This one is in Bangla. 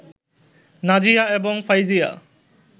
নাজিয়া এবং ফাইজিয়া